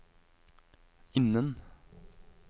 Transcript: innen